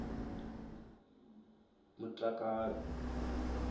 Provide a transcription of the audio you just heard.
mutakalo